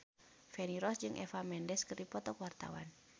Feni Rose jeung Eva Mendes keur dipoto ku wartawan